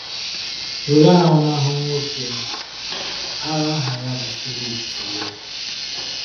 Were ahụmahụ nwoke agha aha ya bụ Phillip tụlee.